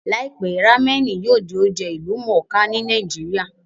Láìpẹ́, rámẹ̀nì yóò di oúnjẹ ìlú mọ̀ọ́ kà ní